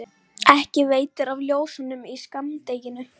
ekki veitir af ljósunum í skammdeginu.